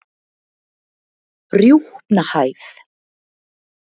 Rjúpnahæð